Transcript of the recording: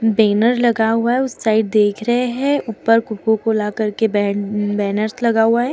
Banner लगा हुआ है उस साइड देख रहे है ऊपर कोको कोला करके बे-बैनर्स लगा हुआ है।